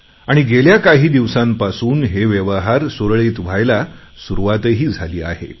आणि गेल्या काही दिवसांपासून हे व्यवहार सुरळीत व्हायला सुरुवातही झाली आहे